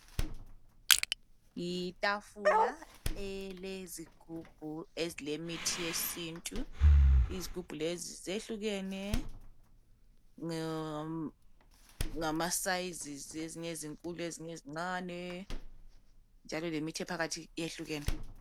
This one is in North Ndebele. Yitafula elezigubhu ezilemithi yesintu. Izigubhu lezi zehlukene ngamasizes. Ezinye zinkulu, ezinye zincane, njalo lemithi ephakathi yehlukene.